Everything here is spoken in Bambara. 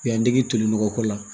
U y'an dege toli nɔgɔ ko la